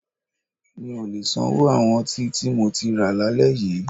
Mi ò lè sanwó àwọn ọtí tí mo ti rà lálẹ́ yí.